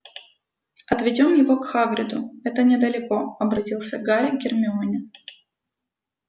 отведём его к хагриду это недалеко обратился гарри к гермионе